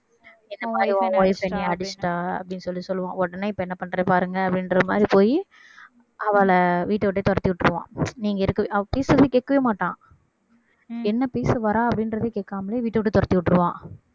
இந்தமாரி உன் wife என்ன அடிச்சிட்டா அப்படீன்னு சொல்லி சொல்லுவான் உடனே இப்ப என்ன பண்ற பாருங்க அப்படின்ற மாதிரி போயி அவள வீட்டை விட்டே துரத்தி விட்டுருவான் நீ இங்க இருக்~ அவ பேசறத கேட்கவே மாட்டான் என்ன பேச வர்றா அப்படின்றதை கேட்காமலே வீட்டை விட்டு துரத்தி விட்டுடுவான்